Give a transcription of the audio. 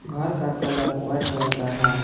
घर का colour white रंग का है।